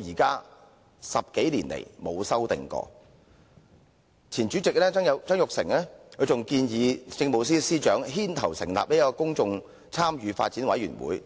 至今10多年來從未作出修訂，前任立法會主席曾鈺成更建議由政務司司長牽頭成立公眾參與發展委員會。